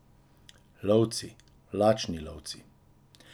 Lovci, lačni lovci.